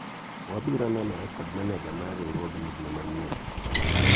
wabiro nenore kod maneja mar riwruogni dwe manyien